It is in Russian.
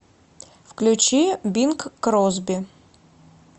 включи бинг кросби